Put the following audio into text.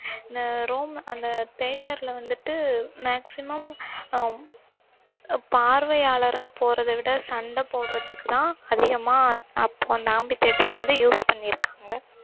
இந்த ரோம் அந்த theater வந்துட்டு maximum அ பார்வையாளரா போறதை விட சண்டை போடறதுக்குதான் அதிகமா அந்~ அப்~ amphitheater ஐ வந்து use பண்ணியிருக்காங்க